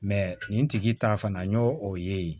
nin tigi ta fana n y'o o ye